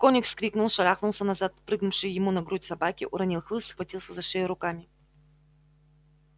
конюх вскрикнул шарахнулся назад от прыгнувшей ему на грудь собаки уронил хлыст схватился за шею руками